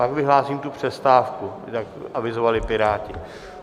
Pak vyhlásím tu přestávku, jak avizovali Piráti.